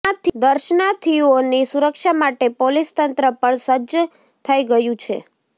દર્શનાર્થીઓની સુરક્ષા માટે પોલીસતંત્ર પણ સજ્જ થઈ ગયું છે